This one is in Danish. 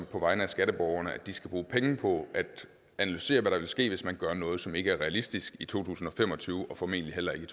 på vegne af skatteborgerne at de skal bruge penge på at analysere hvad der vil ske hvis man gør noget som ikke er realistisk i to tusind og fem og tyve og formentlig heller ikke